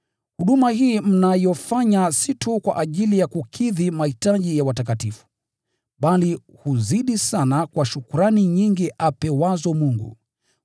Huduma hii mnayofanya si tu kwa ajili ya kukidhi mahitaji ya watakatifu, bali huzidi sana kwa shukrani nyingi apewazo Mungu.